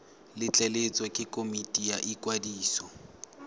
letleletswe ke komiti ya ikwadiso